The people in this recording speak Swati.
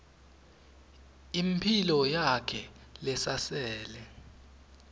imphilo yakhe lesasele